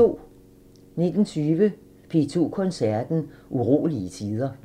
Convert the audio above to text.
19:20: P2 Koncerten – Urolige tider